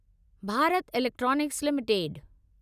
Bharat electronics limited